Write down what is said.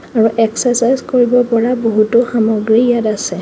আৰু এক্সেচাজ কৰিব পৰা বহুতো সামগ্ৰী ইয়াত আছে।